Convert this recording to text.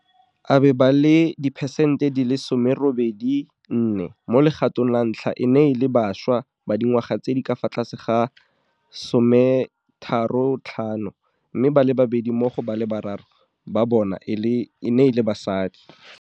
abe ba le diperesente 84 mo legatong la ntlha e ne e le bašwa ba dingwaga tse di ka fa tlase ga 35, mme ba le babedi mo go ba le bararo ba bona e ne e le basadi.